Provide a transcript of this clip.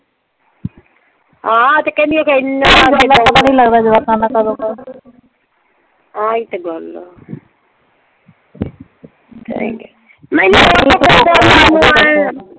ਹਾਂ ਤੇ ਕਹਿੰਦੀ ਅਖ਼ੇ ਐਨਾ ਆਹੀ ਤੇ ਗੱਲ ਆ।